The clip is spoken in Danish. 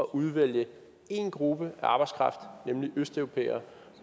udvælge én gruppe af arbejdskraft nemlig østeuropæere